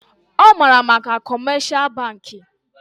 Ọ maara maka kọmeshal bankị